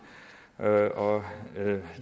og